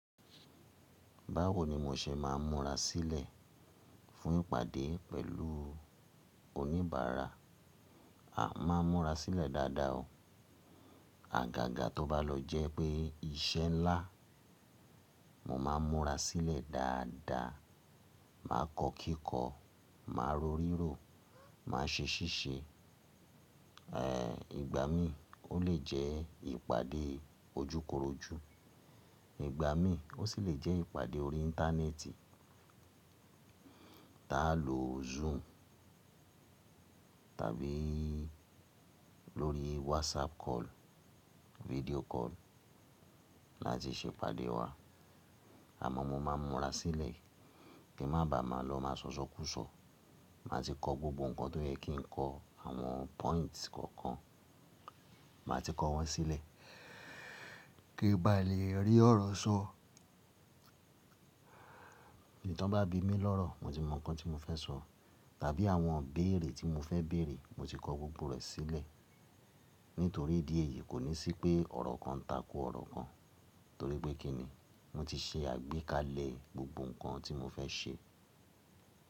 Báwo ni mo ṣe máa ń múra sílẹ̀ fún ìpàdé pẹ̀lú oníbàárà? À máa ń múra sílẹ̀ dáadáa o. Àgàgà tó bá lọ jẹ́ pé iṣẹ́ ńlá, mo máa ń múra sílẹ̀ dáadáa, màá kọ́kíkọ́, màá rọrírò, màá ṣe ṣíṣe. Ìgbà mí ó lè jẹ́ ìpàdé ojúkorojú, ìgbà mí ó sì lè jẹ́ ìpàdé orí Íńtánẹ́ẹ̀tì, tá a lọ Zoom tàbí lórí WhatsApp call, video call láti ṣe ìpàdé wa. Àmọ́ mo máa ń múra sílẹ̀ kí má bàa má lọ màá sọ̀sọ kúùsọ̀. Màá ti kọ gbogbo nǹkan tó yẹ kí n kọ, àwọn points kọ̀ọ̀kan, màá ti kọ wọ́n sílẹ̀ kí bá lè rí ọ̀rọ̀ sọ. Tán bá bí mi lọ́rọ̀ mo ti mọ nǹkan tí mo fẹ́ sọ tàbí àwọn ībéèrè tí mo fẹ́ bèèrè mo ti kọ gbogbo rẹ̀ sílẹ̀. Nítorí ìdí èyí kò ní sí pé ọ̀rọ̀ kan tako ọ̀rọ̀ kan, torí pé kí ni? Mo ti ṣe àgbékalẹ̀ gbogbo nǹkan tí mo fẹ́ ṣe.